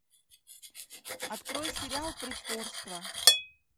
открой сериал притворство